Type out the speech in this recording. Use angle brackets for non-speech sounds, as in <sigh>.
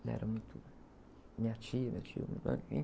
Ela era muito... Minha tia, meu tio, <unintelligible>